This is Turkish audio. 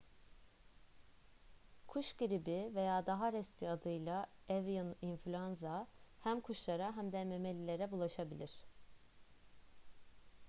kuş gribi veya daha resmi adıyla avian influenza hem kuşlara hem de memelilere bulaşabilir